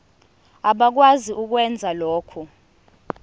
abakwazi ukwenza lokhu